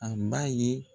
A b'a ye